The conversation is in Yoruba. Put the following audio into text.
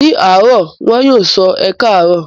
Ní àárọ̀ wọn yóò sọ 'Ẹ káàárọ̀'.